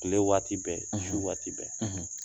Tile waati bɛɛ, su waati bɛɛ